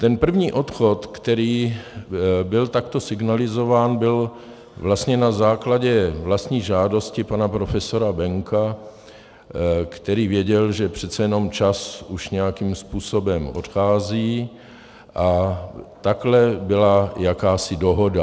Ten první odchod, který byl takto signalizován, byl vlastně na základě vlastní žádosti pana profesora Penka, který věděl, že přece jenom čas už nějakým způsobem odchází, a takhle byla jakási dohoda.